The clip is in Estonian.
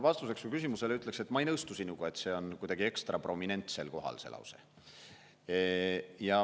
Vastuseks su küsimusele ütlen, et ma ei nõustu sinuga, nagu see lause oleks kuidagi ekstra prominentsel kohal.